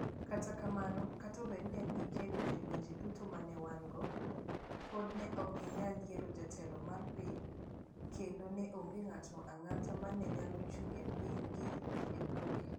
Kata kamano, kata obedo ni ne gikedo e lwenje duto ma ne wan - go, pod ne ok ginyal yiero jatelo mar piny, kendo ne onge ng'ato ang'ata ma ne nyalo chung ' ne pinygi e bunge.